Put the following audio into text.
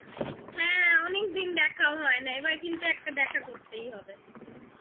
হ্যাঁ অনেকদিন দেখা হয় না এবার কিন্তু একটা দেখা করতেই হবে